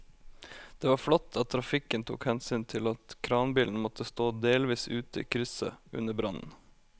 Det var flott at trafikken tok hensyn til at kranbilen måtte stå delvis ute i krysset under brannen.